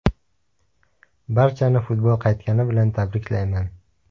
Barchani futbol qaytgani bilan tabriklayman.